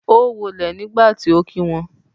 o wo ilé nígbàtí ọ kí wón.